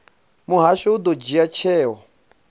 muhasho u ḓo dzhia tsheo